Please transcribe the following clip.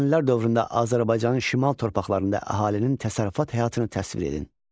Əhəmənilər dövründə Azərbaycanın şimal torpaqlarında əhalinin təsərrüfat həyatını təsvir edin.